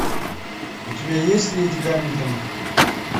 у тебя есть леди гамильтон